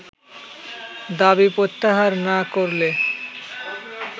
দাবি প্রত্যাহার না করলে